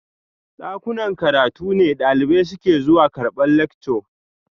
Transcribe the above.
Dakunan karatu ne dalibai suke zuwa karbar lectures